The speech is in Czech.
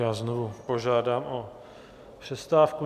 Já znovu požádám o přestávku.